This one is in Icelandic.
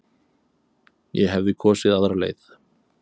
Ég hefði kosið aðra leið.